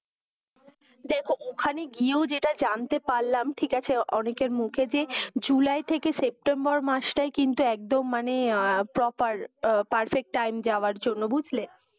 দেখো ওখানে গিয়েও যেটা জানতে পারলাম, ঠিক আছে অনেকের মুখে যে, জুলাই থেকে সেপ্টেম্বর মাসটাই কিন্তু একদম মানে proper, perfect time যাওয়ার জন্য বুঝলে?